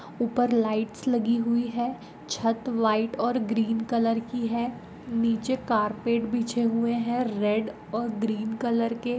उपर लाइट्स लगि हुई है छत व्हाइट और ग्रीन कलर की हे निचे कार्पेट बिछे हुवे है रेड और ग्रीन कलर के।